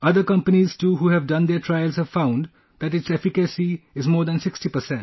Other companies too who have done their trials have found that its efficacy is more than 60%